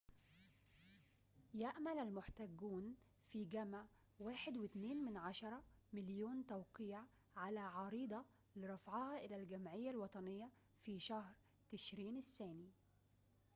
يأمل المحتجون في جمع 1.2 مليون توقيع على عريضة لرفعها إلى الجمعية الوطنية في شهر تشرين الثاني